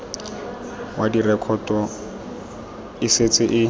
wa direkoto e setse e